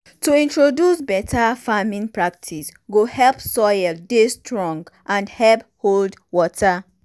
to introduce better farming practice go help soil dey strong and help hold water.